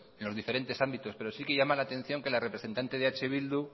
en los diferentes ámbitos pero sí que llama la atención que la representante de eh bildu